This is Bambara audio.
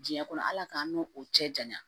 Diɲɛ kɔnɔ ala k'an n'o cɛ janya